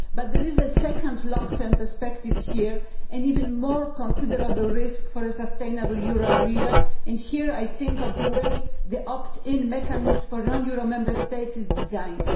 But there is a second long term perspective here and an even more considerable risk for a sustainable euro area, and here I am thinking of the way the opt in mechanism for non euro Member States is designed.